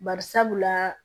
Bari sabula